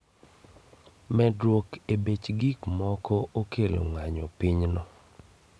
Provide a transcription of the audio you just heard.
Medruok e bech gikmogo okelo ng'anyo pinyno